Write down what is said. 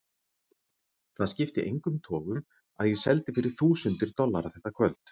Það skipti engum togum að ég seldi fyrir þúsundir dollara þetta kvöld.